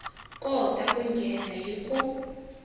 kota ku nghena hi ku